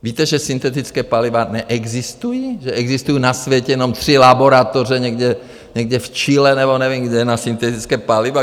Víte, že syntetická paliva neexistují, že existují na světě jenom tři laboratoře někde v Chile nebo nevím kde na syntetická paliva.